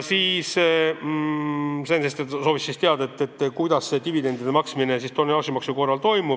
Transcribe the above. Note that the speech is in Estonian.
Sven Sester soovis teada, kuidas toimub dividendide maksmine tonnaažimaksu korral.